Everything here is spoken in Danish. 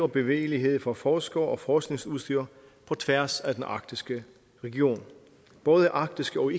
bevægelighed for forskere og forskningsudstyr på tværs af den arktiske region både arktiske og